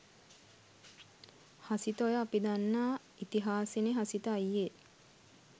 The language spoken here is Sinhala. හසිත ඔය අපි දන්නා ඉතිහාසෙනේ හසිත අයියේ.